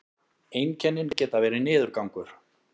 einkennin geta verið niðurgangur